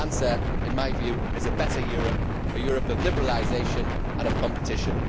The answer, in my view, is a better Europe a Europe of liberalisation and competition.